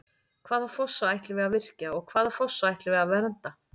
Hvaða fossa ætlum við að virkja og hvaða fossa ætlum við að vernda?